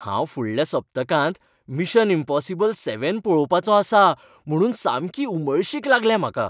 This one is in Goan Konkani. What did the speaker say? हांव फुडल्या सप्तकांत मिशन इम्पॉसिबल सेव्हन पळोवपाचो आसां म्हुणून सामकी उमळशीक लागल्या म्हाका.